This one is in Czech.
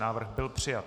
Návrh byl přijat.